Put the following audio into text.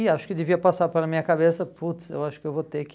E acho que devia passar pela minha cabeça, putz, eu acho que eu vou ter que...